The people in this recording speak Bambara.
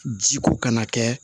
Ji ko kana kɛ